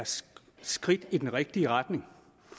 et skridt i den rigtige retning